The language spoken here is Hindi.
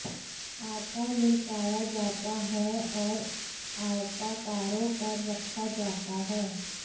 आटा लुढ़काया जाता है और आयताकारों पर रखा जाता है